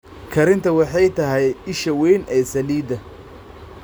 Kharinta waxay tahay isha weyn ee saliidda.